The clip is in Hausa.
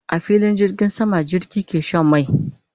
A filin jirgin sama jirgi ke Shan mai